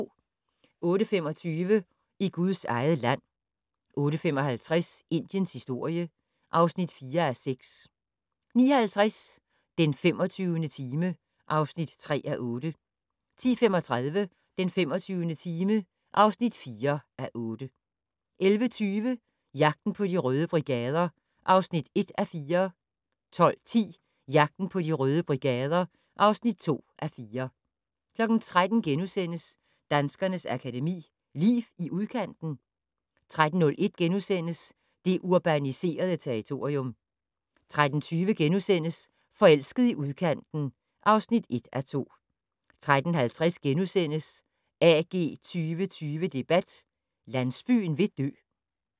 08:25: I Guds eget land 08:55: Indiens historie (4:6) 09:50: Den 25. time (3:8) 10:35: Den 25. time (4:8) 11:20: Jagten på De Røde Brigader (1:4) 12:10: Jagten på De Røde Brigader (2:4) 13:00: Danskernes Akademi: Liv i udkanten? * 13:01: Det urbaniserede territorium * 13:20: Forelsket i udkanten (1:2)* 13:50: AG 2020 debat: Landsbyen vil dø *